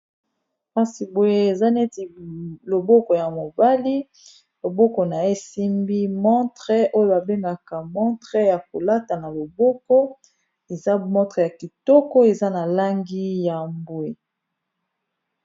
Kasi boye eza neti loboko ya mobali loboko nayesimbi montre oyo babengaka montre ya kolata na loboko eza montre ya kitoko eza na langi ya mbwe